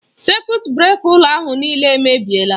Sekut breka ụlọ ahụ nịịle èmèbịèlà.